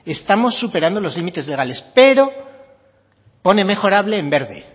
estamos superando los límites legales pero pone mejorable en verde